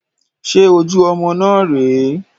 Ṣe ojú ọmọ náà rè é?